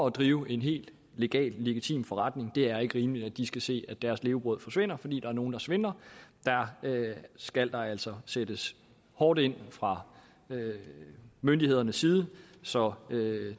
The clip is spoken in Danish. at drive en helt legal og legitim forretning det er ikke rimeligt at de skal se at deres levebrød forsvinder fordi der er nogle der svindler der skal der altså sættes hårdt ind fra myndighedernes side så